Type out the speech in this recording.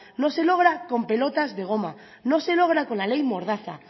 no se logra con pelotas de gomas no se logra con la ley mordaza